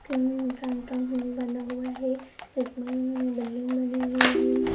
बना हुआ है इसमें बिल्डिंग बनी हुई है।